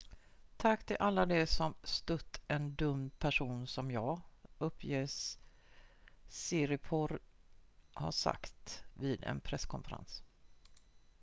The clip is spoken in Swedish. """tack till alla de som stött en dömd person som jag" uppges siriporn ha sagt vid en presskonferens.